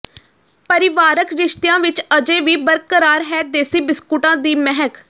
ਪਰਿਵਾਰਕ ਰਿਸ਼ਤਿਆਂ ਵਿੱਚ ਅਜੇ ਵੀ ਬਰਕਰਾਰ ਹੈ ਦੇਸੀ ਬਿਸਕੁਟਾਂ ਦੀ ਮਹਿਕ